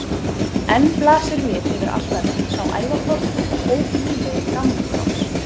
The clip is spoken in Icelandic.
Enn blasir við yfir altarinu sá ævaforni og óguðlegi gamli kross.